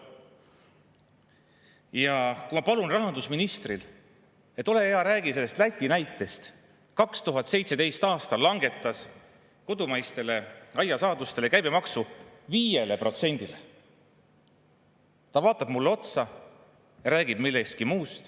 Ja kui ma palun rahandusministrit: "Ole hea, räägi sellest Läti näitest, kui 2017. aastal langetati seal kodumaiste aiasaaduste käibemaksu 5%-le," siis ta vaatab mulle otsa ja räägib millestki muust.